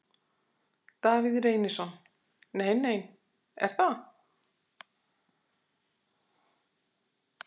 Davíð Reynisson: Nei nein, er það?